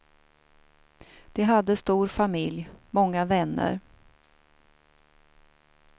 De hade stor familj, många vänner.